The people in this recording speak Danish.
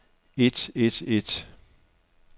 et et et